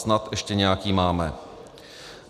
Snad ještě nějaký máme.